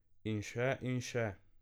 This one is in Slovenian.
In še in še ...